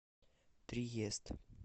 триест